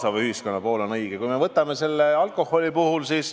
Vaatame seda alkoholiteemat.